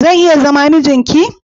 Zan iya zama mijin ki?